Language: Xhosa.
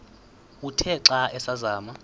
uthe xa asazama